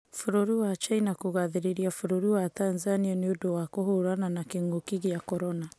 Bũrũri wa China kũgathĩrĩria bũrũri wa Tanzania nĩũndũ wa kũhũrana na kĩng'uki gĩa korona